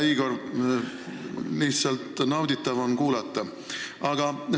Hea Igor, lihtsalt nauditav on sind kuulata!